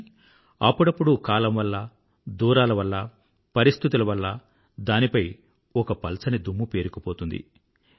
కానీ అప్పుడప్పుడు కాలం వల్ల దూరాల వల్ల పరిస్థితుల వల్ల దానిపై ఒక పల్చని దుమ్ము పేరుకుపోతుంది